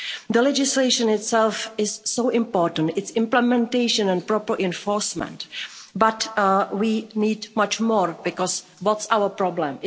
The legislation itself is so important, its implementation and proper enforcement, but we need much more, because what's our problem?